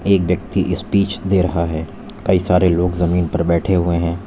एक ब्यक्ति स्पीच दे रहा है कई सारे लोग जमीन पर बैठे हुए हैं।